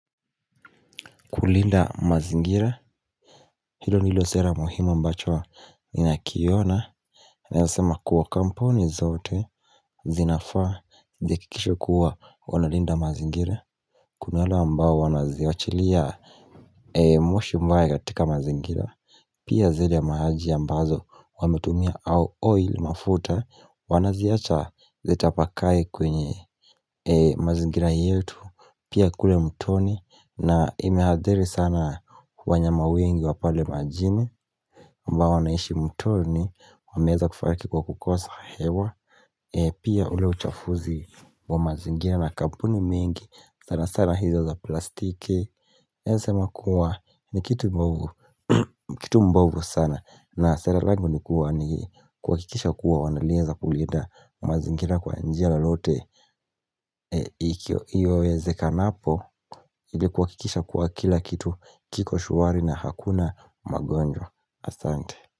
Kulinda mazingira hilo ndilo sera muhimu ambacho ninakiona Nayosema kuwa kampuni zote zinafaa ziakikishe kuwa wanalinda mazingira Kuna hala ambao wanaziachilia moshi mbaya katika mazingira Pia zele maji ambazo wametumia au oil mafuta wanaziacha zetapakae kwenye mazingira yetu Pia kule mtoni na imehadhiri sana wanyama wengi wa pale majini ambao wanaishi mtoni Wameza kufarki kwa kukosa hewa Pia ule uchafuzi wa mazingira na kampuni mingi sana sana hizo za plastiki naeza sema kuwa ni kitu mbovu Kitu mbovu sana na sare langu ni kuwa ni kuwakikisha kuwa wanalieza kulinda mazingira kwa njia lalote Iyowezekanapo ili kuwakikisha kuwa kila kitu kiko shwari na hakuna magonjwa Astante.